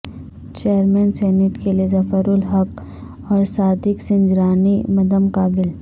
chairman senate کیلئے ظفر الحق اور صادق سنجرانی مدمقابل